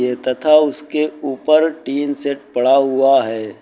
तथा उसके उपर टीन सेट पड़ा हुआ है।